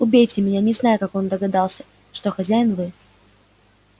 убейте меня не знаю как он догадался что хозяин вы